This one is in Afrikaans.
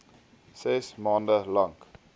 ses maand lank